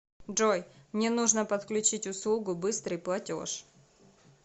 джой мне нужно подключить услугу быстрый платеж